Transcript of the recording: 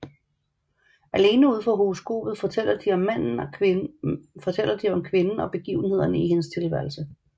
Alene ud fra horoskopet fortæller de om kvinden og begivenhederne i hendes tilværelse